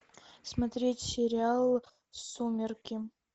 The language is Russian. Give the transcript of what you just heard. смотреть сериал сумерки